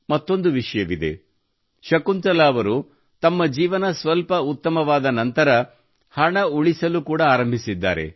ಮತ್ತೊಂದು ವಿಷಯವಿದೆ ಅದೆಂದರೆ ಶಕುಂತಲಾ ಅವರು ತಮ್ಮ ಜೀವನ ಸ್ವಲ್ಪ ಉತ್ತಮವಾದ ನಂತರ ಹಣ ಉಳಿಸಲು ಕೂಡಾ ಆರಂಭಿಸಿದ್ದಾರೆ